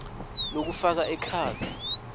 lokufaka ekhatsi